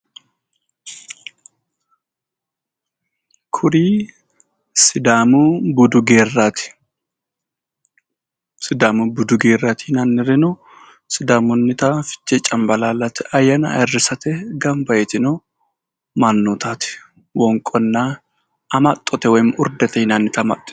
Kuri sidaamu budu geerraati. sidaamu budu geerraati yinannirino sidaamunnita fichee cambalaallete ayyaana ayirrisate gamba yitino mannootaati. Wonqonna amaxxote woyi urdete yinannita amaxxitino.